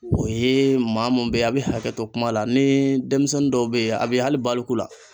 O ye maa mun bɛ ye a' bɛ hakɛto kuma la ni denmisɛnnin dɔw bɛ yen a bɛ hali baliku la.